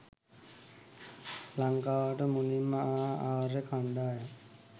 ලංකාවට මුලින්ම ආ ආර්ය කණ්ඩායම්